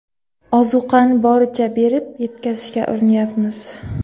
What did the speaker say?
Ozuqani boricha berib, yetkazishga urinyapmiz.